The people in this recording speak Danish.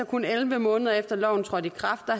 kun elleve måneder efter loven trådte i kraft